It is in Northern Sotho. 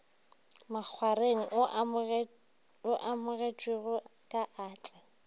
makgwareng o amogetšwe ka atla